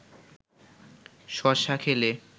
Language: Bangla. শশা খেলে